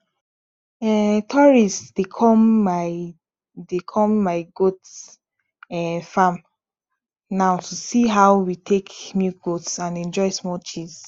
um tourists dey come my dey come my goat um farm now to see how we take milk goat and enjoy small cheese